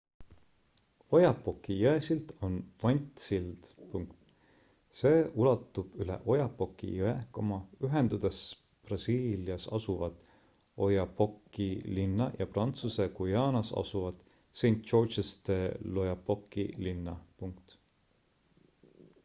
oyapocki jõesild on vantsild see ulatub üle oyapocki jõe ühendades brasiilias asuvat oiapoque'i linna ja prantsuse guajaanas asuvat saint-georges de l'oyapocki linna